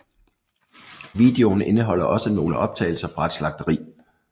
Videoen indeholder også nogle optagelser fra et slagteri